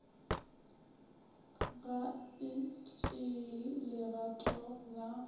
ga e tšee legato la